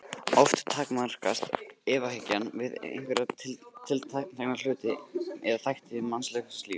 Oft takmarkast efahyggjan við einhverja tiltekna hluti eða þætti mannlegs lífs.